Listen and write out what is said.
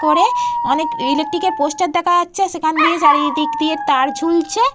করে অনেক ইলেকট্রিক এর পোস্টার দেখা যাচ্ছে আর সেখানে দিয়ে চারিদিক দিয়ে তার ঝুলছে।